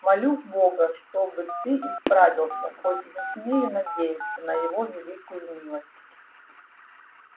молю бога чтоб ты исправился хоть и не смею надеяться на его великую милость